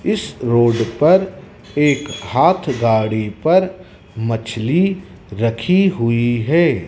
इस रोड पर एक हाथ गाड़ी पर मछली रखी हुई है।